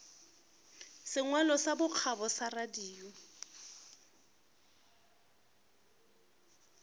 sengwalo sa bokgabo sa radio